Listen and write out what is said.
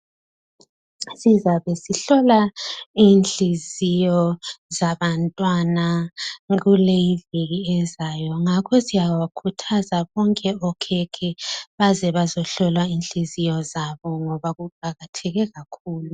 Sizabe sihlola Inhliziyo zabantwana kuleyiviki ezayo .Ngakho siyabakhuthaza bonke okhekhe baze bazohlolwa Inhliziyo zabo .Ngoba kuqakatheke kakhulu.